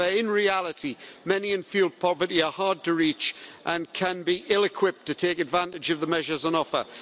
However, in reality, many in fuel poverty are hard to reach and can be ill-equipped to take advantage of the measures on offer.